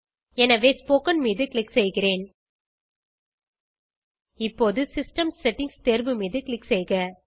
எனவே ஸ்போக்கன் மீது க்ளிக் செய்கிறேன் இப்போது சிஸ்டம் செட்டிங்ஸ் தேர்வு மீது க்ளிக் செய்க